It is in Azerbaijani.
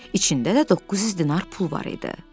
İçində də 900 dinar pul var idi.